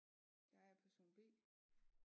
Jeg er person B